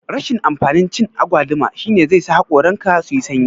Rashin amfanin cin agwaluma shine zai sa hakoran ka suyi sanyi